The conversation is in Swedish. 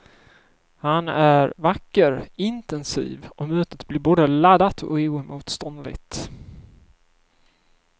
Han är vacker, intensiv och mötet blir både laddat och oemotståndligt.